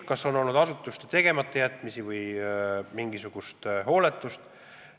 Kas on olnud asutuste tegematajätmisi või mingisugust hooletust?